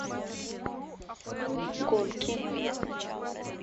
гонки